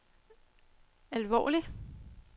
alvorlig